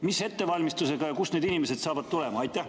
Mis ettevalmistusega ja kust need inimesed saavad tulema?